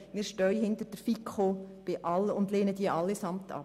Wir stehen hinter den Beschlüssen der FiKo und lehnen diese Massnahmen allesamt ab.